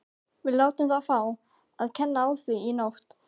Við látum þá fá að kenna á því í nótt.